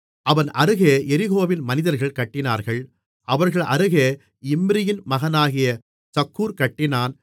அவன் அருகே எரிகோவின் மனிதர்கள் கட்டினார்கள் அவர்கள் அருகே இம்ரியின் மகனாகிய சக்கூர் கட்டினான்